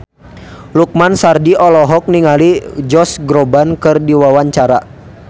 Lukman Sardi olohok ningali Josh Groban keur diwawancara